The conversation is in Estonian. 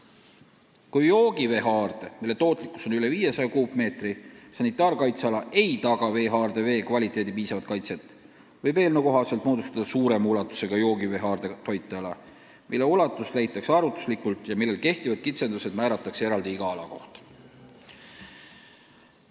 Kui joogiveehaarde tootlikkus on üle 500 kuupmeetri ööpäevas ja sanitaarkaitseala ei taga veehaarde vee kvaliteedi piisavat kaitset, võib eelnõu kohaselt moodustada suurema ulatusega joogiveehaardega toiteala, mille ulatus leitakse arvutuslikult ja millel kehtivad kitsendused määratakse eraldi iga ala kohta.